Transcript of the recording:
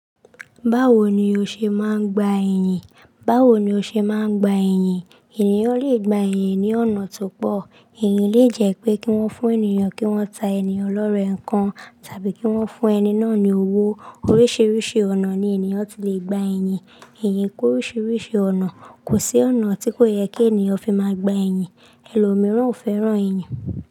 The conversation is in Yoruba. Báwo ni o ṣe máa ń gba eyin? Báwo ni o ṣe máa ń gba eyin? Ènìyàn lè gba eyin ní ọ̀nà tó pọ̀. Eyin lè jẹ́ pé kí wọ́n fún ènìyàn kí wọ́n ta ènìyàn lọ́rẹẹ́ nǹkan tàbí kí wọ́n fún ẹni náà ní owó. Oríṣiríṣi ọ̀nà ni ènìyàn ti lè gba eyin. Eyi kú oríṣiríṣi ọ̀nà. Kò sí ọ̀nà tí kò yẹ kí ènìyàn fi máa gba eyin. Ẹlòmíràn ò fẹ́ràn eyin.